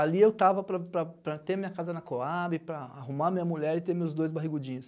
Ali eu tava para para para ter minha casa na Cohab, para arrumar minha mulher e ter meus dois barrigudinhos.